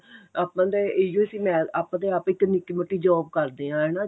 ਆਪਾਂ ਨੂੰ ਤਾਂ ਇਹੀ ਉਹ ਸੀ ਆਪਾਂ ਤੇ ਆਪ ਇੱਕ ਨਿੱਕੀ ਮੋਟੀ job ਕਰਦੇ ਏਂ